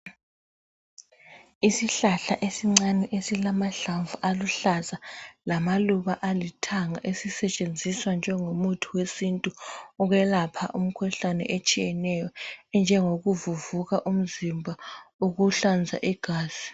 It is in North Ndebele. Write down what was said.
Isihlahla esincane esilamahlamvu aluhlaza lamaluba alithanga esisetshenziswa njengo muthi wesintu ukwelapha imikhuhlane etshiyeneyo enjengokuvuvuka umzimba, ukuhlanza igazi.